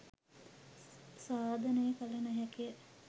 සාධනය කළ නොහැකිය.